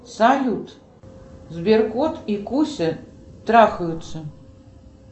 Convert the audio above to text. салют сберкот и куся трахаются